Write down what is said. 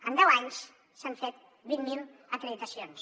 en deu anys s’han fet vint mil acreditacions